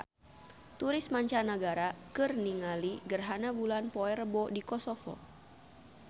Turis mancanagara keur ningali gerhana bulan poe Rebo di Kosovo